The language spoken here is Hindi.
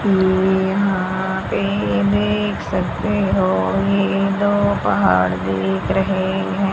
ये यहां पे देख सकते हो ये दो पहाड़ दिख रहे हैं।